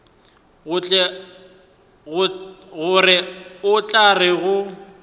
gore o tla re go